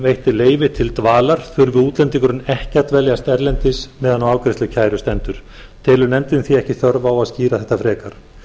veitt leyfi til dvalar þurfi útlendingurinn ekki að dveljast erlendis meðan á afgreiðslu kæru stendur telur nefndin því ekki þörf á að skýra þetta frekar